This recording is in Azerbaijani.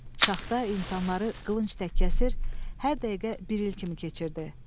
Şaxta insanları qılınc tək kəsir, hər dəqiqə bir il kimi keçirdi.